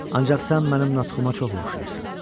Ancaq sən mənim natxıma çox oxşayırsan.